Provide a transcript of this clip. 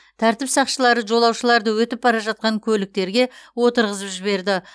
тәртіп сақшылары жолаушыларды өтіп бара жатқан көліктерге отырғызып жіберді